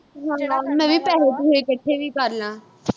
ਹਾਂ, ਮੈਂ ਵੀ ਪੈਸੇ-ਪੂਸੇ ਇਕੱਠੇ ਕਰਲਾਂ।